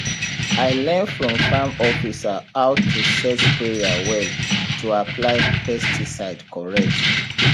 i learn from farm officer how to set sprayer well to apply pesticide correct